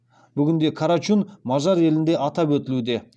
бүгінде карачун мажар елінде атап өтілуде